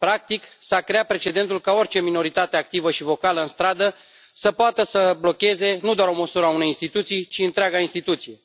Practic, s a creat precedentul ca orice minoritate activă și vocală în stradă să poată să blocheze nu doar o măsură a unei instituții ci întreaga instituție.